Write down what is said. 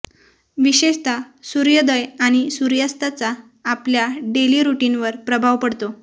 विशेषतः सूर्योदय आणि सुर्यास्ताचा आपल्या डेली रुटीनवर प्रभाव पडतो